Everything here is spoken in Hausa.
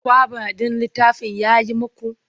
Kwaba ɗin littafin ya yi muku?